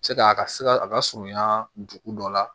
Se ka a ka se ka a ka surunya dugu dɔ la